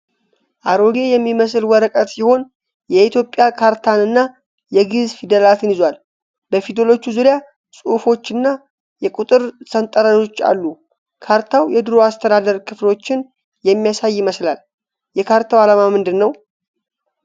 አሮጌ የሚመስል ወረቀት ሲሆን የኢትዮጵያ ካርታንና የግእዝ ፊደላትን ይዟል። በፊደሎቹ ዙሪያ ጽሑፎችና የቁጥር ሰንጠረዥ አሉ። ካርታው የድሮ የአስተዳደር ክፍሎችን የሚያሳይ ይመስላል። የካርታው አላማ ምንድን ነው?